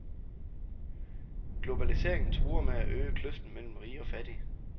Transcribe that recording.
Globaliseringen truer med at øge kløften mellem rige og fattige.